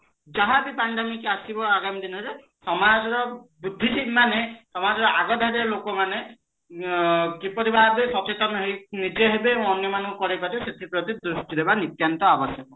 ଯାହା ବି pandemic ଆସିବ ଆଗାମି ଦିନରେ ସମାଜ ର ବୁଦ୍ଧି ଠିକ ମାନେ ସମାଜର ଆଗାମି ଲୋକମାନେ ଅ କିପରିଭାବେ ସଚେତନ ହେଇ ନିଜେହେବେ ଅନ୍ୟମାନଙ୍କୁ କରେଇପାରିବେ ସେଥୀପ୍ରତି ଦ୍ରୁଷ୍ଟି ଦବା ନିତ୍ୟାନ୍ତ ଅବଶ୍ୟକ